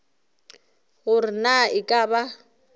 gore na e ka ba